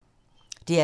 DR P3